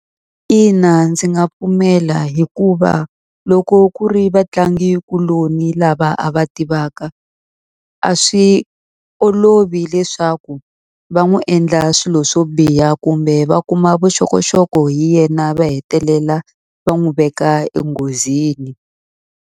Ina ndzi nga pfumela hikuva loko ku ri vatlangikuloni lava a va tivaka, a swi olovi leswaku va n'wi endla swilo swo biha kumbe va kuma vuxokoxoko hi yena va hetelela va n'wi veka enghozini.